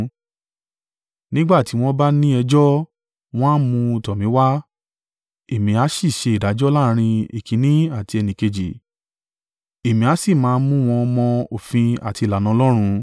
Nígbà tí wọ́n bá ní ẹjọ́, wọn a mú un tọ̀ mí wá, èmi a sì ṣe ìdájọ́ láàrín ẹnìkínní àti ẹnìkejì, èmi a sì máa mú wọn mọ òfin àti ìlànà Ọlọ́run.”